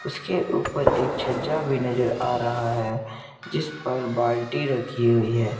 इसके ऊपर एक छज्जा भी नजर आ रहा है। जिस पर बाल्टी रखी हुई है।